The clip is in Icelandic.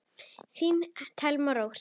Þín Thelma Rós.